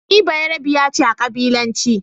Ni Beyarabiya ce a ƙabilance.